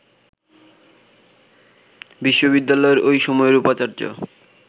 বিশ্ববিদ্যালয়ের ওই সময়ের উপাচার্য